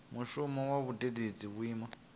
mushumo wa u vhuedzedza vhuimo